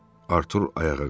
Artur ayağa qalxdı.